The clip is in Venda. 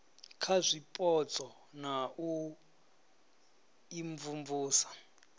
kha zwipotso na u imvumvusa